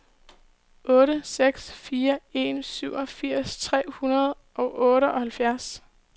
otte seks fire en syvogfirs tre hundrede og otteoghalvtreds